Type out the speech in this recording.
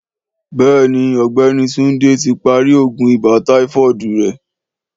Béèni ògbéni Túndé tí parí oògùn ibà táífọ́ọ̀dù rè